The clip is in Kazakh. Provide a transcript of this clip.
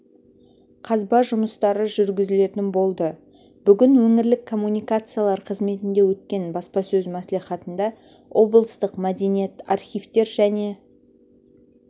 қазба жұмыстары жүргізілетін болды бүгін өңірлік коммуникациялар қызметінде өткен баспасөз мәслихатында облыстық мәдениет архивтер және